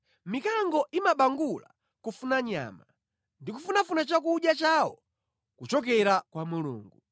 Mikango imabangula kufuna nyama, ndi kufunafuna chakudya chawo kuchokera kwa Mulungu.